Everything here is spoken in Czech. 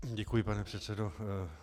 Děkuji, pane předsedo.